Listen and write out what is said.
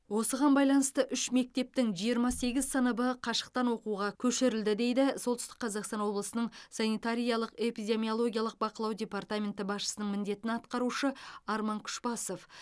осыған байланысты үш мектептің жиырма сегіз сыныбы қашықтан оқуға көшірілді дейді солтүстік қазақстан облысының санитариялық эпидемиологиялық бақылау департаменті басшысының міндетін атқарушы арман күшбасов